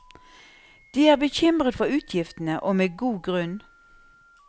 De er bekymret for utgiftene, og med god grunn.